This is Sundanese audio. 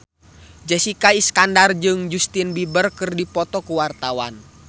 Jessica Iskandar jeung Justin Beiber keur dipoto ku wartawan